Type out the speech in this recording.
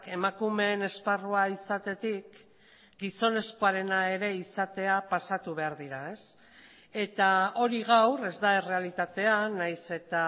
emakumeen esparrua izatetik gizonezkoarena ere izatea pasatu behar dira eta hori gaur ez da errealitatea nahiz eta